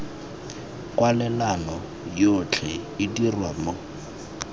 kwalelano yotlhe e dirwa mo